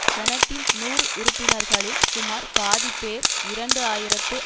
செனட்டின் நூறு உறுப்பினர்களில் சுமார் பாதிப்பேர் இரண்டு ஆயிரத்து